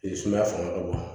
Sumaya fanga ka bon